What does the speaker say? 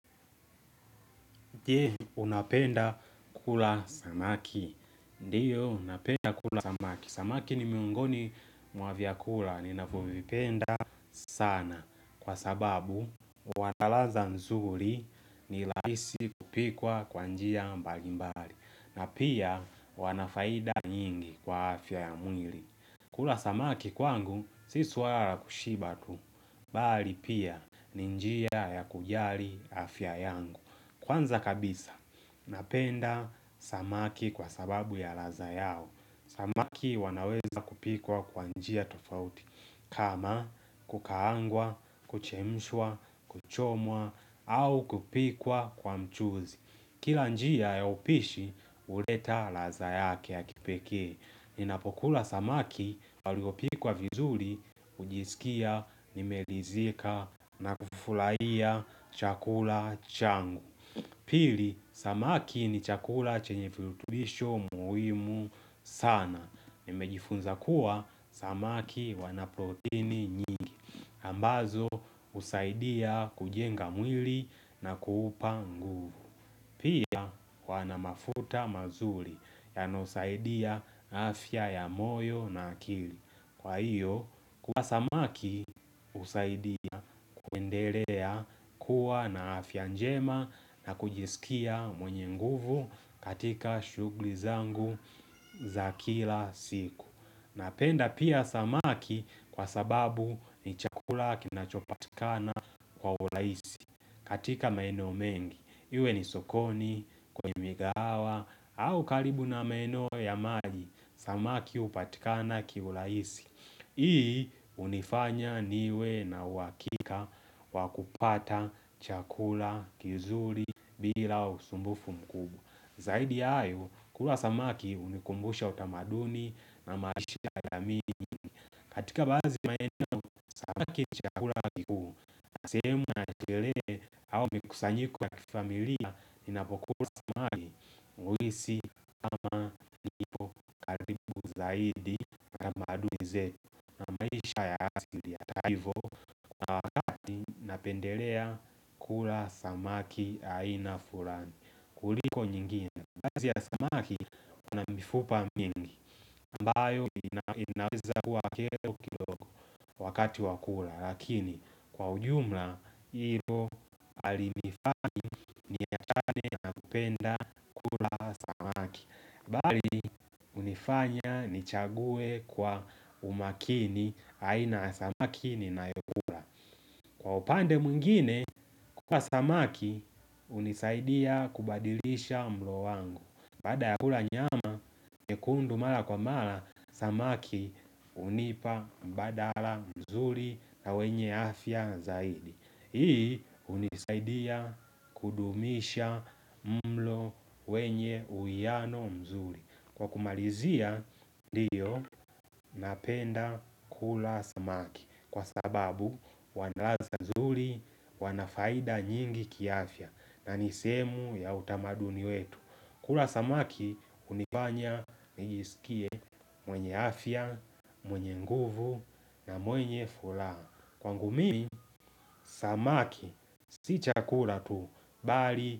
Je, unapenda kula samaki? Ndiyo napenda kula samaki. Samaki ni miongoni mwa vyakula ninavyovipenda sana, kwa sababu wanaladha nzuri, ni rahisi kupikwa kwa njia mbalimbali na pia wanafaida nyingi kwa afya ya mwili. Kula samaki kwangu si swala la kushiba tu. Bali pia, ni njia ya kujali afya yangu. Kwanza kabisa napenda samaki kwa sababu ya ladha yao. Samaki wanaweza kupikwa kwa njia tofauti kama kukaangwa, kuchemshwa, kuchomwa au kupikwa kwa mchuzi. Kila njia ya upishi uleta ladha yake ya kipekee. Ninapokula samaki waliopikwa vizuri, hujisikia nimeridhika, nakufurahia chakula changu. Pili, samaki ni chakula chenye virutubisho muhimu sana. Nimejifunza kuwa samaki wana protini nyingi. Ambazo husaidia kujenga mwili na kuupa nguvu. Pia wana mafuta mazuri. Yanayosaidia afya ya moyo na akili. Kwa hiyo, kula samaki hunisaidia kuendelea kuwa na afya njema na kujisikia mwenye nguvu katika shughuli zangu za kila siku. Napenda pia samaki kwa sababu ni chakula kinachopatikana kwa uraisi katika maeneo mengi. Iwe ni sokoni, kwenye mikahawa au karibu na maeneo ya maji, samaki hupatikana kwa urahisi. Ii unifanya niwe na uhakika wakupata chakula kizuri bila usumbufu mkubwa. Zaidi ya hayo, kula samaki unikumbusha utamaduni na maisha ya jamii katika baadhi maenake chakula sehemu ya shelehe au mikusanyiko ya kifamilia. Inapokula mwisi zaidi kize maisha ya asili ya taivo. Napendelea kula samaki aina fulani kuliko nyingine, kazi ya samaki unamifupa mingi ambayo inaweza kuwa kero kidogo wakati wakula. Lakini kwa ujumla hilo alimifanya napenda bali unifanya nichague kwa umakini aina samaki ni nayokula. Kwa upande mwingine kwa samaki unisaidia kubadilisha mlo wangu. Baada ya kula nyama nyekundu mala kwa mala samaki unipa mbadala mzuri na wenye afya zaidi. Hii unisaidia kudumisha mlo wenye uwiano mzuri. Kwa kumalizia ndiyo napenda kula samaki. Kwa sababu wanalatha mzuri wanafaida nyingi kiafya. Na nisehemu ya utamaduni wetu. Kula samaki unifanya nisikie mwenye afya, mwenye nguvu na mwenye fulaha. Kwangu mi, samaki, si chakula tu, bali.